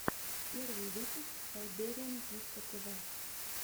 первый выпуск сайбериан дискотв